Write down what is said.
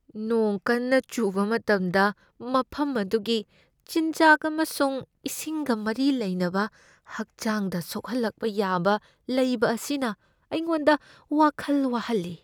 ꯅꯣꯡ ꯀꯟꯅ ꯆꯨꯕ ꯃꯇꯝꯗ ꯃꯐꯝ ꯑꯗꯨꯒꯤ ꯆꯤꯟꯖꯥꯛ ꯑꯃꯁꯨꯡ ꯏꯁꯤꯡꯒ ꯃꯔꯤ ꯂꯩꯅꯕ ꯍꯛꯆꯥꯡꯗ ꯁꯣꯛꯍꯜꯂꯛꯄ ꯌꯥꯕ ꯂꯩꯕ ꯑꯁꯤꯅ ꯑꯩꯉꯣꯟꯗ ꯋꯥꯈꯜ ꯋꯥꯍꯜꯂꯤ ꯫